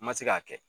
N ma se k'a kɛ